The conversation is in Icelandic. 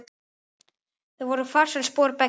Það voru farsæl spor beggja.